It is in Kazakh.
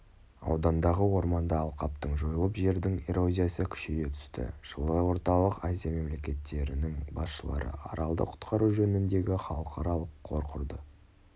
аудандағы орманды алқаптың жойылып жердің эрозиясы күшейе түсті жылы орталық азия мемлекеттерінің басшылары аралды құтқару жөніндегі халықаралық қор құрды